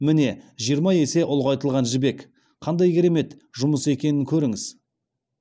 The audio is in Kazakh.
міне жиырма есе ұлғайтылған жібек қандай керемет жұмыс екенін көріңіз